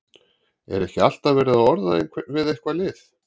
Er ekki alltaf verið að orða einhvern við eitthvað lið?